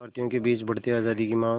भारतीयों के बीच बढ़ती आज़ादी की मांग